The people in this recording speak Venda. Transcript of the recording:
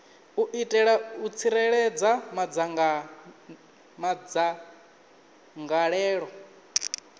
u itela u tsireledza madzangalelo